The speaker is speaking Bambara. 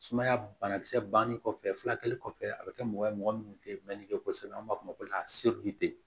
Sumaya banakisɛ bannen kɔfɛ furakɛli kɔfɛ a bɛ kɛ mɔgɔ ye mɔgɔ minnu tɛ mɛnni kɛ kosɛbɛ an b'a fɔ o ma